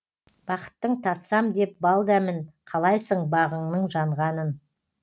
бақыттың татсам деп бал дәмін қалайсың бағыңның жанғанын